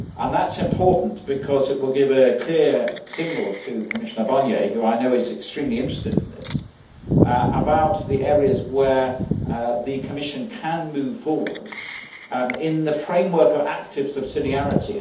That is important because it will give a clear signal to Commissioner Barnier, who I know is extremely interested in this, about the areas where the Commission can move forward in the framework of active subsidiarity.